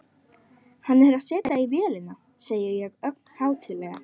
Hann er að setja í vélina, segi ég ögn hátíðlega.